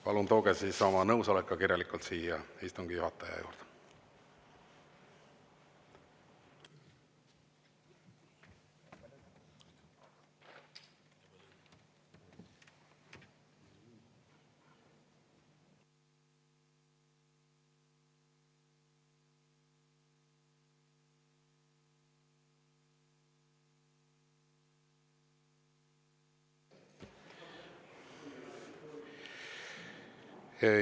Palun tooge siis oma nõusolek ka kirjalikult siia istungi juhataja juurde.